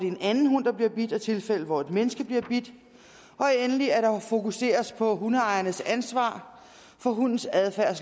en anden hund der bliver bidt og tilfælde hvor et menneske bliver bidt og endelig at der fokuseres på hundeejernes ansvar for hundens adfærd